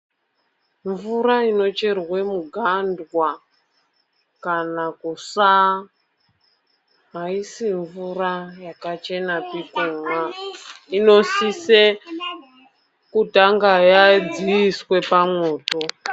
Mvura inocherwa mugandwa kana kusawa aisi mvura yakachenapi kumwa , inosise kutanga yadziiswa pamwoto.